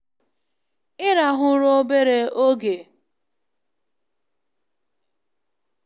Ịrahụ ụra obere oge n'oge ezumike na-eme ka nlebara anya ya na ọnọdụ ya ka mma nke ọma.